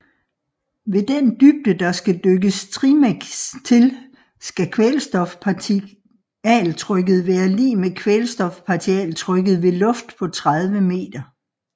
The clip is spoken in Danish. Ved den dybde der skal dykkes trimix til skal kvælstofpartialtrykket være lig med kvælstofpartialtrykket ved luft på 30 meter